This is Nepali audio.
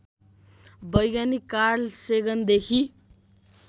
वैज्ञानिक कार्ल सेगनदेखि